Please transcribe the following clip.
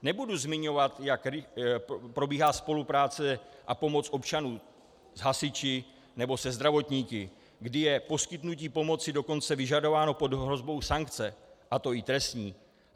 Nebudu zmiňovat, jak probíhá spolupráce a pomoc občanů s hasiči nebo se zdravotníky, kdy je poskytnutí pomoci dokonce vyžadováno pod hrozbou sankce, a to i trestní.